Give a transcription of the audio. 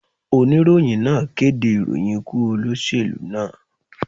Oníròyìn náà kéde ìròyìn ikú olóṣèlú náà.